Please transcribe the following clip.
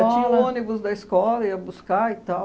Tinha o ônibus da escola, ia buscar e tal.